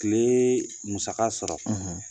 tile musaka sɔrɔ